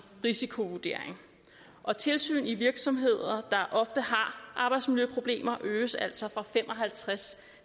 risikovurdering og tilsyn i virksomheder der ofte har arbejdsmiljøproblemer øges altså fra fem og halvtreds